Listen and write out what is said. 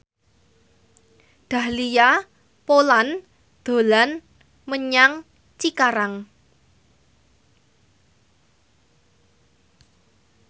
Dahlia Poland dolan menyang Cikarang